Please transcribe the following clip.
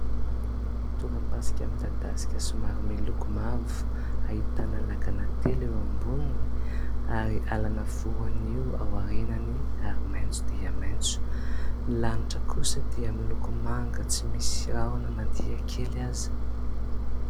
Tora-pasika midadasika somary miloko mavo, ahitana lakana telo eo amboniny ary alana voanio aorianany ary maitso dia maitso. Ny lanitra kosa dia miloko manga tsy misy rahona na dia kely aza.